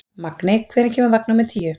Magney, hvenær kemur vagn númer níu?